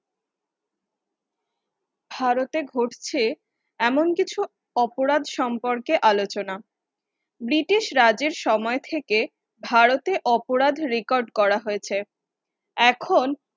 ভারতে ঘটছে এমন কিছু অপরাধ সম্পর্কে আলোচনা। ব্রিটিশ রাজ্যের সময়থেকে ভারতের অপরাধ রেকর্ড করা হয়েছে। এখন